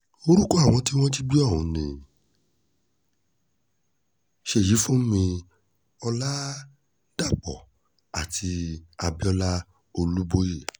orúkọ àwọn tí wọ́n jí gbé um ọ̀hún ni ṣèyífúnmi ọ̀làdàpọ̀ àti abiola um olùbọ́ọ́yẹ́